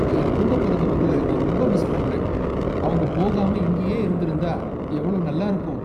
என்கூடப் பொறந்தவங்கள நான் ரொம்ப மிஸ் பண்றேன். அவங்க போகாம இங்கேயே இருந்திருந்தா எவ்வளவு நல்லா இருக்கும்.